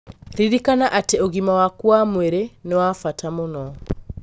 Ririkana atĩ ũgima waku wa mwĩrĩ nĩ wa bata mũno.